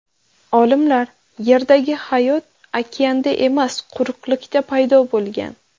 Olimlar: Yerdagi hayot okeanda emas, quruqlikda paydo bo‘lgan.